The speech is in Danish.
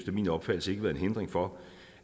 min opfattelse ikke været en hindring for